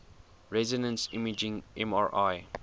resonance imaging mri